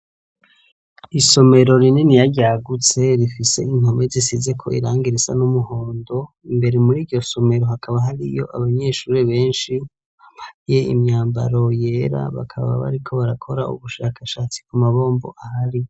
Isomero rininiya ryagutse, rifise impome zisizeko irangi risa n'umuhondo, imbere muri iryo somero hakaba hariyo abanyeshure benshi bambaye imyambaro yera, bakaba bariko barakora ubushakashatsi ku mabombo ahari.